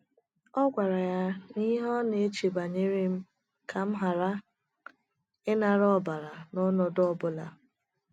ọ gwara ya na ihe ọna eche banyerem bụ kam hara ịnara ọbara n’ọnọdụ ọ bụla.